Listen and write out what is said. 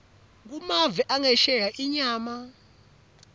kumave angesheya inyama